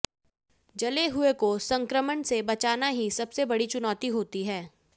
जले हुए को संक्रमण से बचाना ही सबसे बड़ी चुनौती होती है